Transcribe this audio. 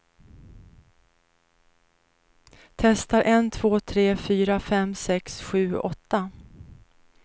Testar en två tre fyra fem sex sju åtta.